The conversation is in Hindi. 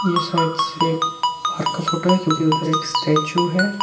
ये साइड से बाहर का फोटो है क्योंकि उधर एक स्टैचू है।